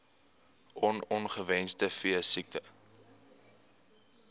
on ongewenste veesiektes